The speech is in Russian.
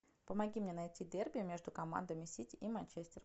помоги мне найти дерби между командами сити и манчестер